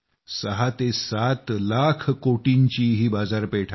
67 लाख कोटींची ही बाजारपेठ आहे